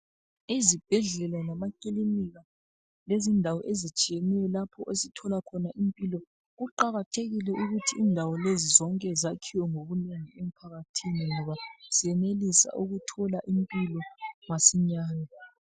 Izibhedlela lamakilinika lezindawo ezitshiyeneyo lapho esithola khona impilo kuqakathekile ukuthi indawo lezi zonke zakhiwe ngobunengi emphakathini ngoba senelisa ukuthola impilo masinyani